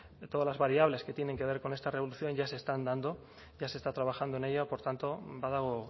de todas las variables que tienen que ver con esta revolución ya se están dando ya se está trabajando en ello por tanto badago